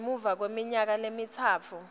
ngemuva kweminyaka lemitsatfu